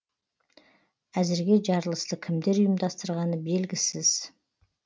әзірге жарылысты кімдер ұйымдастырғаны белгісіз